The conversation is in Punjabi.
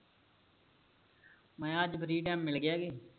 ਮੈਂ ਅੱਜ free time ਮਿਲ ਗਿਆ ਕੇ